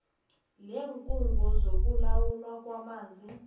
leenkhungo zokulawulwa kwamanzi